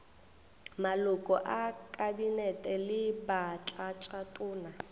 maloko a kabinete le batlatšatona